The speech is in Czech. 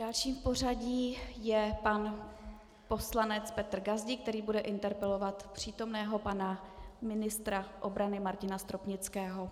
Další v pořadí je pan poslanec Petr Gazdík, který bude interpelovat přítomného pana ministra obrany Martina Stropnického.